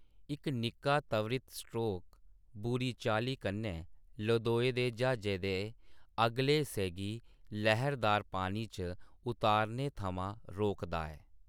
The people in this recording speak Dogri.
इक निक्का, त्वरित स्ट्रोक बुरी चाल्ली कन्नै लदोए दे ज्हाजै दे अगले हिस्से गी लहरदार पानी च उतरने थमां रोकदा ऐ।